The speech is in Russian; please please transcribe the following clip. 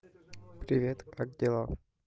привет как дела